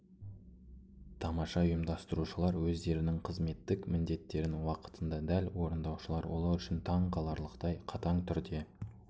тамаша ұйымдастырушылар өздерінің қызметтік міндеттерін уақытында дәл орындаушылар олар үшін таңқаларлықтай қатаң түрде